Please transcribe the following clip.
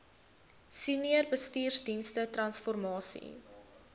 senior bestuursdienste transformasie